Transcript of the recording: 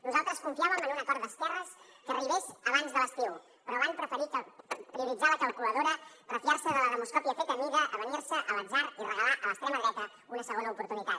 nosaltres confiàvem en un acord d’esquerres que arribés abans de l’estiu però van preferir prioritzar la calculadora refiar se de la demoscòpia feta a mida avenir se a l’atzar i regalar a l’extrema dreta una segona oportunitat